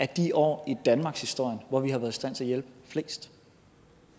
de år i danmarkshistorien hvor vi har været i stand til at hjælpe flest